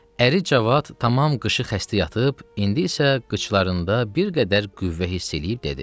Əri Cavad tamam qışı xəstə yatıb, indi isə qıçlarında bir qədər qüvvə hiss eləyib dedi.